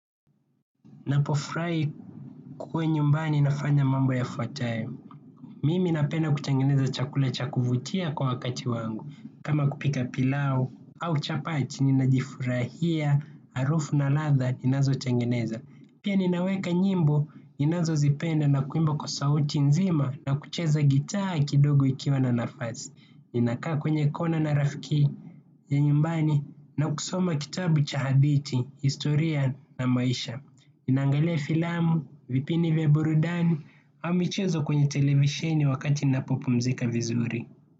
Napofurahi kwenye nyumbani nafanya mambo yafuatayo. Mimi napenda kutengeneza chakula cha kuvutia kwa wakati wangu. Kama kupika pilau au chapati, ninajifurahia, harufu na ladha, inazotengeneza. Pia ninaweka nyimbo ninazo zipenda na kuimba kwa sauti nzima na kucheza gitaa kidogo ikiwa na nafasi. Ninakaa kwenye kona na rafiki ya nyumbani na kusoma kitabu cha hadithi, historia na maisha. Ninaangale filamu, vipini vya burudani, au michezo kwenye televisheni wakati napo pumzika vizuri.